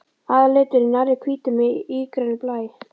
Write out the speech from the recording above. Aðalliturinn er nærri hvítur með ígrænum blæ.